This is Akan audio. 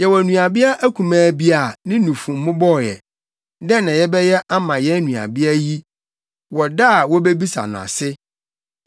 Yɛwɔ nuabea akumaa bi a, ne nufu mmobɔɔ ɛ. Dɛn na yɛbɛyɛ ama yɛn nuabea yi wɔ da a wobebisa no ase?